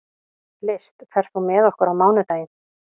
List, ferð þú með okkur á mánudaginn?